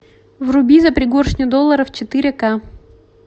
вруби за пригоршню долларов четыре ка